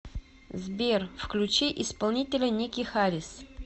сбер включи исполнителя ники харис